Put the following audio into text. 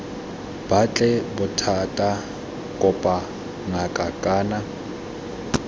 batle bothata kopa ngaka kana